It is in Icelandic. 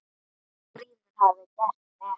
Grímur hafði gert rétt.